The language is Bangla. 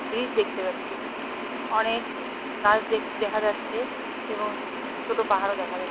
ব্রীজ দেখতে পাচ্ছি। অনেক গাছ দেখ দেখা যাচ্ছে এবং ছোট পাহাড়ও দেখা যা--